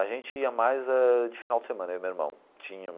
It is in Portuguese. A gente ia mais eh de final de semana, eu e meu irmão. Tinha.